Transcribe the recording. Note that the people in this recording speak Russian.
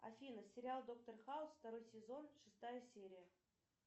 афина сериал доктор хаус второй сезон шестая серия